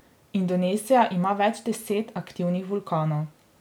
Indonezija ima več deset aktivnih vulkanov.